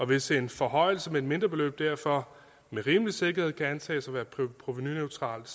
hvis en forhøjelse med et mindre beløb derfor med rimelig sikkerhed kan antages at være provenuneutralt